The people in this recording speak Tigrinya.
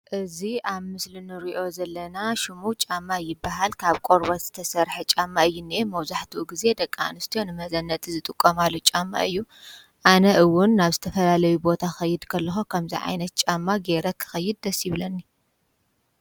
እዚ አብ ምስሊ ንሪኦ ዘለና ሽሙ ጫማ ይበሃል። ካብ ቆርበት ዝተሰርሐ ጫማ እዩ ዝኒሀ መብዛሕትኡ ግዘ ደቂ አንስትዮ ንመዘነጢ ዝጥቀማሉ ጫማ እዩ። አነ እውን ናብ ዝተፈላለዩ ቦታ ክኸድ ከለኩ ከምዙይ ዓይነት ጫማ ገይረ ክኸይድ ደስ ይብለኒ።